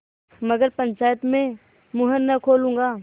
मगर पंचायत में मुँह न खोलूँगा